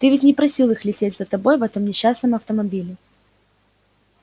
ты ведь не просил их лететь за тобой в этом несчастном автомобиле